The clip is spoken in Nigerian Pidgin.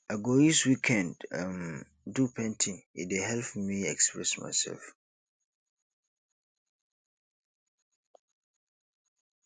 i go use weekend um do painting e dey help me express myself